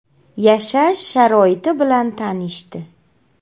Yashash sharoiti bilan tanishdi.